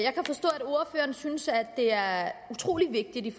ordføreren synes det er utrolig vigtigt